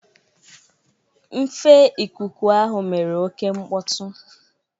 Nfe ikuku ahụ mere oke mkpọtụ.